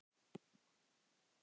Ekki smuga!